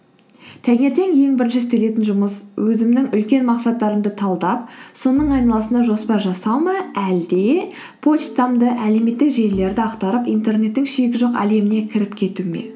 таңертең ең бірінші істелетін жұмыс өзімнің үлкен мақсаттарымды талдап соның айналасында жоспар жасау ма әлде почтамды әлеуметтік желілерді ақтарып интернеттің шегі жоқ әлеміне кіріп кету ме